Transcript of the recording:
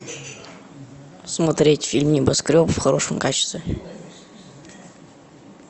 смотреть фильм небоскреб в хорошем качестве